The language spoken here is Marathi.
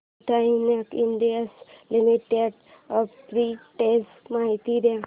ब्रिटानिया इंडस्ट्रीज लिमिटेड आर्बिट्रेज माहिती दे